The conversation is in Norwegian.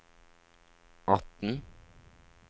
atten